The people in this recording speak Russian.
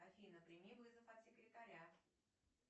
афина прими вызов от секретаря